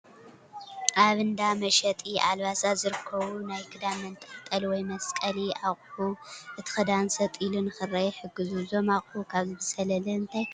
ኣብ እንዳ መሸጢ ኣልባሳት ዝርከቡ ናይ ክዳን መንጠልጠሊ ወይ መስቀሊ ኣቑሑ እቲ ክዳን ሰጥ ኢሉ ንክርአ ይሕግዙ፡፡ እዞም ኣቑሑ ካብዚ ብዝዘለለ እንታይ ካልእ ረብሓ ይህቡ?